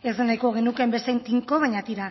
ez da nahiko genukeen bezain tinko baina tira